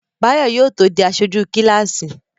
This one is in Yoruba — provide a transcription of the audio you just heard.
Báyọ̀ yóò tó di aṣojú kíláàsì